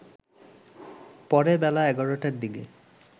পরে বেলা ১১টার দিকে